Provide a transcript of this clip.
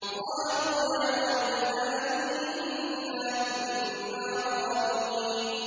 قَالُوا يَا وَيْلَنَا إِنَّا كُنَّا ظَالِمِينَ